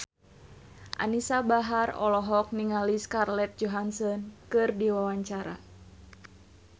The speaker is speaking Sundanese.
Anisa Bahar olohok ningali Scarlett Johansson keur diwawancara